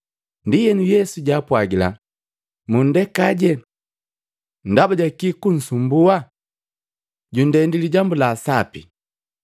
Ndienu Yesu jaapwagila, “Mundekaaje! Ndaba jaki kunsumbua? Jundendi lijambu la sapi.